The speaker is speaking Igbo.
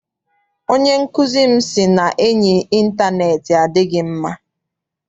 Onye nkụzi m sị na enyi intaneeti adịghị mma.